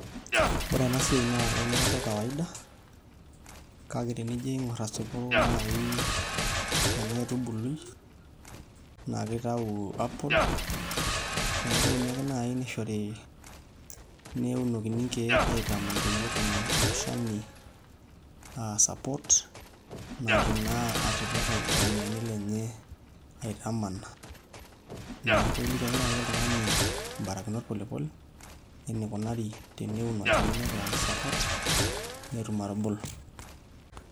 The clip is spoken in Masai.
ore ena siai naa eunore ake ekawaida. kake tenijo aing'or asipu naai ena aitubului, naa kejo aaku ene apple neekuini ake naaji nishori. neunokini. nkeek aitaman, pee etum ilo shani support natum naa atipika ilo oinieni lenye, aitamana. neeku pee iliki ake naaji oltungani ibarakinot polepole enikunari pee eun olchani lenye aing'uraki support netum atubulu.